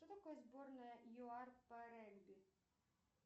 что такое сборная юар по регби